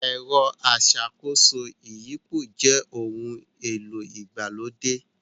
Ẹ̀rọ aṣàkóso ìyípo jẹ ohun-èlò ìgbàlódé